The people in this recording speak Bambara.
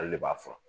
Ale de b'a fɔ